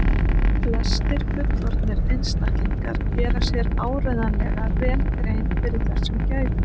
flestir fullorðnir einstaklingar gera sér áreiðanlega vel grein fyrir þessum gæðum